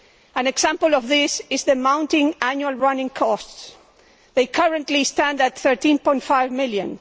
An example of this is the mounting annual running costs they currently stand at EUR 13.5 million.